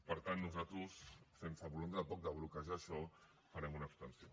per tant nosaltres sense voluntat tampoc de bloquejar això farem una abstenció